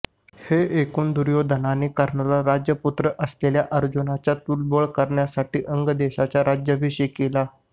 हे ऐकून दुर्योधनाने कर्णाला राजपुत्र असलेल्या अर्जुनाच्या तुल्यबळ करण्यासाठी अंग देशाचा राज्याभिषेक केला